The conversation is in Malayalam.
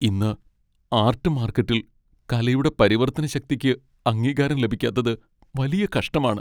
ഇന്ന് ആർട്ട് മാർക്കറ്റിൽ കലയുടെ പരിവർത്തന ശക്തിക്ക് അംഗീകാരം ലഭിക്കാത്തത് വലിയ കഷ്ടമാണ്.